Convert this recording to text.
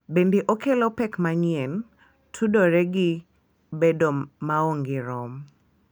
Bende okelo pek manyien tudore gi bedo maonge rom .